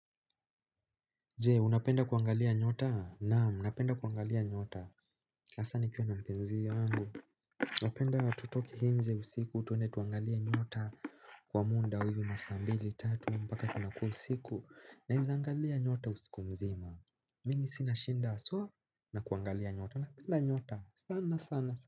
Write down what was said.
Je unapenda kuangalia nyota na unapenda kuangalia nyota hasa nikiwa na mpenzi wangu napenda tutoke nje usiku twende tuangalie nyota kwa muda huyu masaa mbili tatu mpaka kunakua usiku naeza angalia nyota usiku mzima Mimi sina shida haswa na kuangalia nyota napenda nyota sana sana.